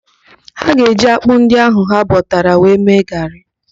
Ha ga-eji ákpụ́ ndị ahụ ha bọtara wee mee gaarị.